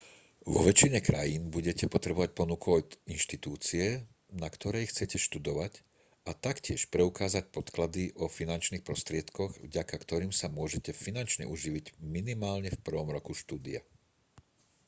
vo väčšine krajín budete potrebovať ponuku od inštitúcie na ktorej chcete študovať a taktiež preukázať podklady o finančných prostriedkoch vďaka ktorým sa môžete finančne uživiť minimálne v prvom roku štúdia